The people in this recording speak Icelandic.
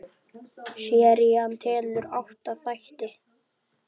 Serían telur átta þætti.